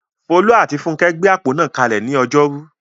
Folú àti Funkẹ́ gbé àpò náà kalẹ̀ ní ọjọ́rú.